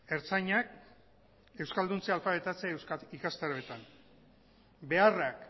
ertzainak euskalduntze alfabetatze ikastaroetan beharrak